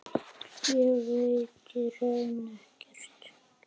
Ég veit í raun ekkert.